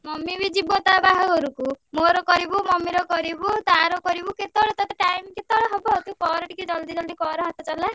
Mummy ବି ଯିବ ତା ବାହାଘରକୁ ମୋର କରିବୁ, mummy ର କରିବୁ, ତାର କରିବୁ, କେତବେଳେ ତତେ time କେତବେଳେ ହବ। ତୁ କର ଟିକେ ଜଲଦି ଜଲଦି କର ହାତ ଚଲା।